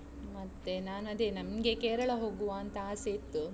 ಮತ್ತೆ ನಾನು ಅದೇ ನಮ್ಗೆ ಕೇರಳ ಹೋಗುವಂತ ಅಸೆ ಇತ್ತು.